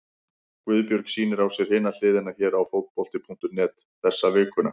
Guðbjörg sýnir á sér Hina hliðina hér á Fótbolti.net þessa vikuna.